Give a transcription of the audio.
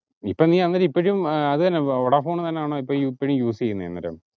ഇപ്പൊ നീ നമ്മുടെ ഇപ്പോക്കും വോഡാഡോൺ തന്നാണോ ഇപ്പൊ ഇപ്പോളും use ചെയ്യുന്നത് അന്നേരം